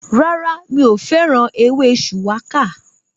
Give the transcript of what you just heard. Rárá, mi ò fẹ́ràn ewé shuwaka